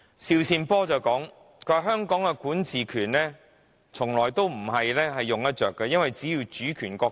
邵善波說香港的管治權是中央授予的，而香港並不是主權國家。